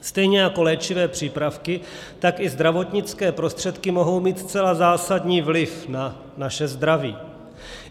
Stejně jako léčivé přípravky, tak i zdravotnické prostředky mohou mít zcela zásadní vliv na naše zdraví.